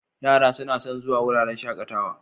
Yara suna son zuwa wuraren shakatawa.